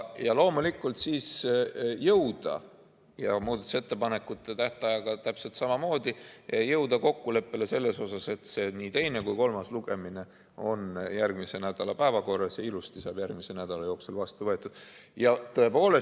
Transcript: Ja loomulikult siis jõuda, muudatusettepanekute tähtajaga täpselt samamoodi, kokkuleppele, et nii teine kui ka kolmas lugemine on järgmise nädala päevakorras ja ilusti saab järgmise nädala jooksul vastu võetud.